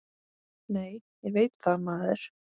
Nei, ég veit það, maður!